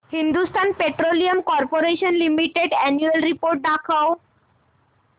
Hindustan Petroleum Corporation Limited annual report दाखव